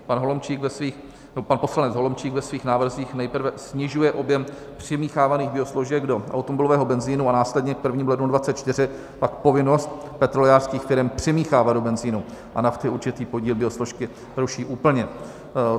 Pan poslanec Holomčík ve svých návrzích nejprve snižuje objem přimíchávaných biosložek do automobilového benzinu a následně k 1. lednu 2024 pak povinnost petrolejářských firem přimíchávat do benzinu a nafty určitý podíl biosložky ruší úplně.